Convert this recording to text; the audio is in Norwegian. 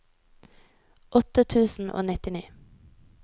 åtte tusen og nittini